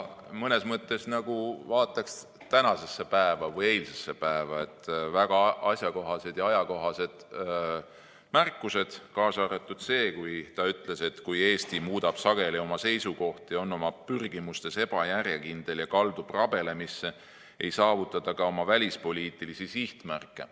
Mõnes mõttes vaadanuks ta nagu tänasesse või eilsesse päeva, väga asjakohased ja ajakohased märkused, kaasa arvatud see, kui ta ütles, et kui Eesti muudab sageli oma seisukohti, on oma pürgimustes ebajärjekindel ja kaldub rabelemisse, ei saavuta ta ka oma välispoliitilisi sihtmärke.